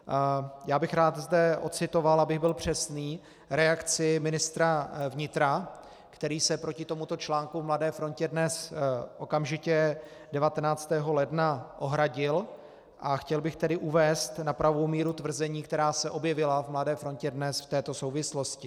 Já bych rád zde ocitoval, abych byl přesný, reakci ministra vnitra, který se proti tomuto článku v Mladé frontě Dnes okamžitě 19. ledna ohradil, a chtěl bych tedy uvést na pravou míru tvrzení, která se objevila v Mladé frontě Dnes v této souvislosti.